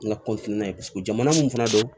N ka ye paseke jamana mun fana don